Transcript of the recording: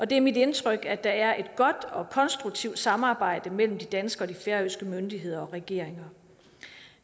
det er mit indtryk at der er et godt og konstruktivt samarbejde mellem de danske og de færøske myndigheder og regeringer